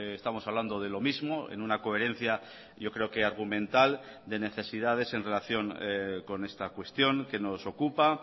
estamos hablando de lo mismo en una coherencia yo creo que argumental de necesidades en relación con esta cuestión que nos ocupa